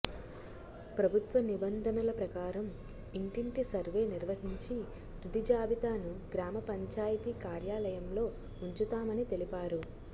ప్రభుత్వ నిబందనల ప్రకారం ఇంటింటి సర్వే నిర్వహించి తుది జాబితాను గ్రామ పంచాయతీ కార్యాలయంలో ఉంచుతామని తెలిపారు